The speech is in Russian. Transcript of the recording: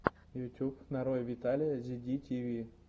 ютюб нарой виталия зи ди ти ви